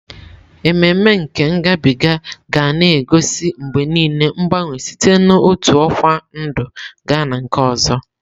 Ememe nke ngabiga ga na-egosi mgbe niile mgbanwe site n'otu ọkwa ndụ gaa na nke ọzọ.